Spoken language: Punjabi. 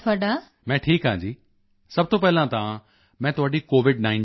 ਮੈਂ ਠੀਕ ਹਾਂ ਜੀ ਸਭ ਤੋਂ ਪਹਿਲਾਂ ਤਾਂ ਮੈਂ ਤੁਹਾਡੀ Covid19 ਨਾਲ